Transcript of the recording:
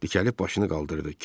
Dikəlib başını qaldırdı.